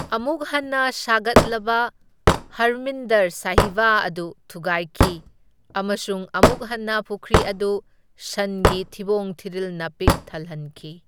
ꯑꯃꯨꯛ ꯍꯟꯅ ꯁꯥꯒꯠꯂꯕ ꯍꯔꯃꯤꯟꯗꯔ ꯁꯥꯍꯤꯕ ꯑꯗꯨ ꯊꯨꯒꯥꯏꯈꯤ, ꯑꯃꯁꯨꯡ ꯑꯃꯨꯛ ꯍꯟꯅ ꯄꯨꯈ꯭ꯔꯤ ꯑꯗꯨ ꯁꯟꯒꯤ ꯊꯤꯕꯣꯡ ꯊꯤꯔꯤꯜꯅ ꯄꯤꯛ ꯊꯜꯍꯟꯈꯤ꯫